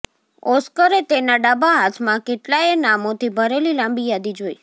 ઓસ્કરે તેના ડાબા હાથમાં કેટલાયે નામોથી ભરેલી લાંબી યાદી જોઈ